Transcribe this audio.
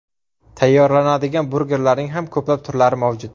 Tayyorlanadigan burgerlarning ham ko‘plab turlari mavjud.